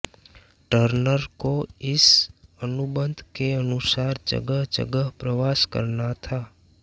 Turner को इस अनुबंध के अनुसार जगह जगह प्रवास करना था